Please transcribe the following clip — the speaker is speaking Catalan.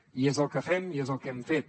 i és el que fem i és el que hem fet